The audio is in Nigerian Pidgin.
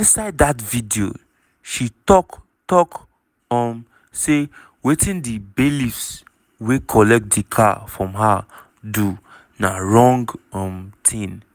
inside dat video she tok tok um say wetin di bailiffs wey collect di car from her do na wrong um tin.